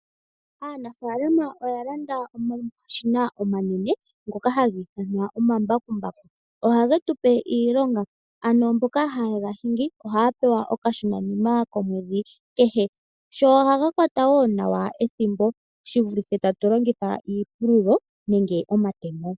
Aanafaalama oya landa omashina omanene ngoka haga ithanwa omambakumbaku. Ohage tu pe iilonga, ano mboka haye ga hingi ohaya pewa okashona nima komwedhi kehe. Ohaga kwata woo nawa ethimbo shi vulithe iipululo nenge omatemo.